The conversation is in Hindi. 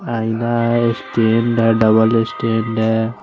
आइना और उस ट्रेन डा डबल स्टेंड है।